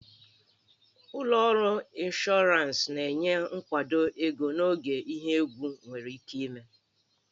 Ụlọ ọrụ ịnshọransị na-enye nkwado ego n'oge ihe egwu nwere ike ime